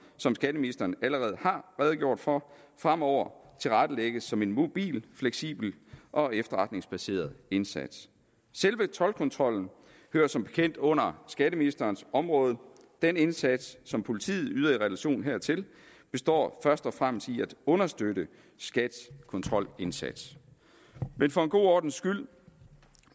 som skatteministeren allerede har redegjort for fremover tilrettelægges som en mobil fleksibel og efterretningsbaseret indsats selve toldkontrollen hører som bekendt under skatteministerens område den indsats som politiet yder i relation hertil består først og fremmest i at understøtte skats kontrolindsats men for en god ordens skyld